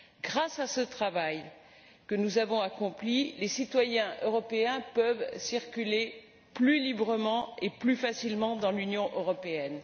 Grâce à ce travail que nous avons accompli, les citoyens européens peuvent circuler plus librement et plus facilement dans l'Union européenne.